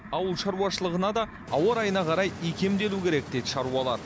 ауыл шарушылығына да ауа райына қарай икемделу керек дейді шаруалар